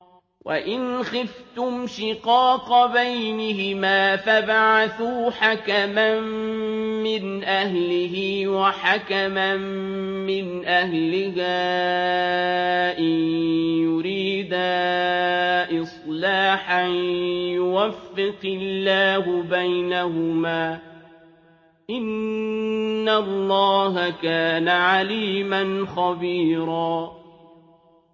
وَإِنْ خِفْتُمْ شِقَاقَ بَيْنِهِمَا فَابْعَثُوا حَكَمًا مِّنْ أَهْلِهِ وَحَكَمًا مِّنْ أَهْلِهَا إِن يُرِيدَا إِصْلَاحًا يُوَفِّقِ اللَّهُ بَيْنَهُمَا ۗ إِنَّ اللَّهَ كَانَ عَلِيمًا خَبِيرًا